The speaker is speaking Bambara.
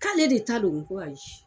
K'ale de ta don ko ayi